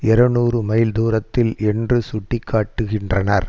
இருநூறு மைல் தூரத்தில் என்று சுட்டி காட்டுகின்றனர்